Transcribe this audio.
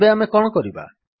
ତେବେ ଆମେ କଣ କରିବା